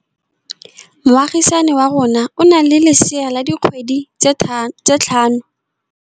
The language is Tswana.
Moagisane wa rona o na le lesea la dikgwedi tse tlhano.